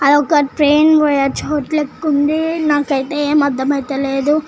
అదొక ట్రైన్ పోయే చోటు లెక్కుంది నాకైతే ఏం అర్థమైతలేదు.